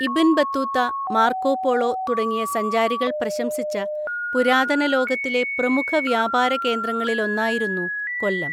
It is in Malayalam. ഇബ്ൻ ബത്തൂത്ത, മാർക്കോ പോളോ തുടങ്ങിയ സഞ്ചാരികൾ പ്രശംസിച്ച പുരാതന ലോകത്തിലെ പ്രമുഖ വ്യാപാര കേന്ദ്രങ്ങളിലൊന്നായിരുന്നു കൊല്ലം.